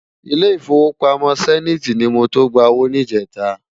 Ilé Ifówópámò Sèniti ni mó to gbá ówó nijètá